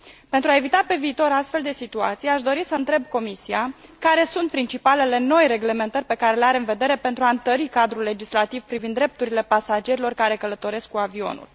Pentru a evita pe viitor astfel de situații, aș dori să întreb Comisia care sunt principalele noi reglementări pe care le are în vedere pentru a întări cadrul legislativ privind drepturile pasagerilor care călătoresc cu avionul.